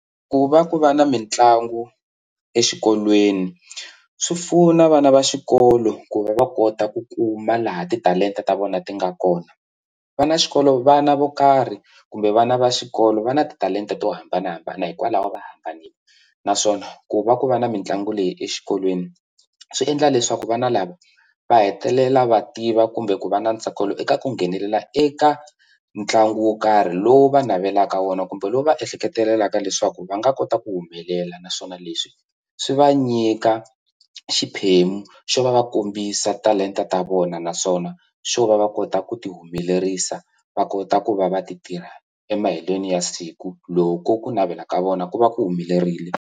Ku va ku va na mitlangu exikolweni swi pfuna vana va xikolo ku va va kota ku kuma laha titalenta ta vona ti nga kona va na xikolo vana vo karhi kumbe vana va xikolo va na titalenta to hambanahambana hikwalaho va hambanile naswona ku va ku va na mitlangu leyi exikolweni swi endla leswaku vana lava va hetelela va tiva kumbe ku va na ntsakelo eka ku nghenelela eka ntlangu wo karhi lowu va navelaka wona kumbe lowu va ehleketelelaka leswaku va nga kota ku humelela naswona leswi swi va nyika xiphemu xo va va kombisa talenta ta vona naswona xo va va kota ku ti humelerisa va kota ku va va ti tirha emaheleni ya siku loko ku navela ka vona ku va ku humelerile.